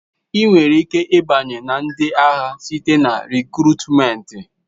Ị nwere ike ịbanye na ndị agha site na rịkrutmenti.